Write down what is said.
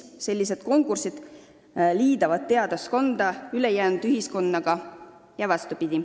Sellised üritused liidavad teadlaskonda ülejäänud ühiskonnaga.